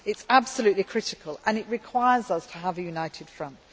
It is absolutely critical and it requires us to have a united front.